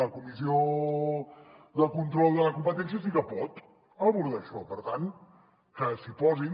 la comissió de control de la competència sí que pot abordar això per tant que s’hi posin